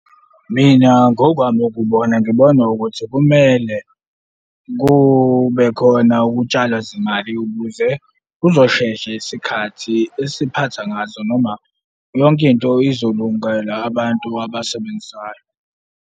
Mina ngokwami ukubona ngibona ukuthi kumele kube khona ukutshalwa zimali ukuze kuzoshesha isikhathi esiphatha ngazo noma yonke into izolungela abantu abasebenzayo.